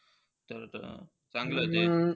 चांगलं जे.